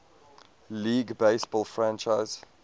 league baseball franchise